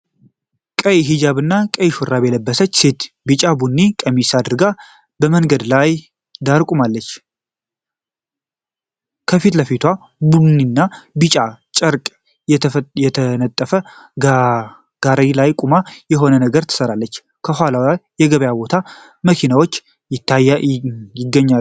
ቀይ ሂጃብና ቀይ ሹራብ የለበሰች ሴት ቢጫና ቡኒ ቀሚስ አድርጋ መንገድ ዳር ቆማለች። ከፊት ለፊቷ ቡኒና ቢጫ ጨርቅ የተነጠፈበት ጋሪ ላይ ቆማ የሆነ ነገር ትሰራለች። ከኋላዋ የገበያ ቦታና መኪኖች ይገኛሉ።